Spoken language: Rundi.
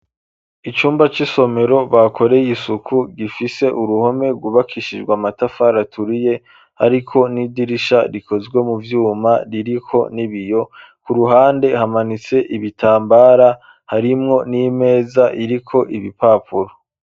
Icumba c'isomero bakoreye isuku gifise uruhome ryubakishijwe amatafari aturiye hariko n'idirisha rikozwe mu vyuma ririko n'ibiyo ku ruhande hamanitse ibitambara harimwo n'imeza iriko ibipapuro.